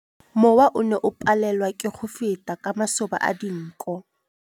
Mowa o ne o palelwa ke go feta ka masoba a dinko.